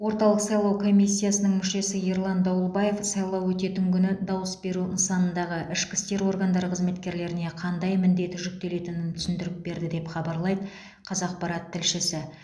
орталық сайлау комиссиясының мүшесі ерлан дауылбаев сайлау өтетін күні дауыс беру нысанындағы ішкі істер органдары қызметкерлеріне қандай міндет жүктелетінін түсіндіріп берді деп хабарлайды қазақпарат тілшісі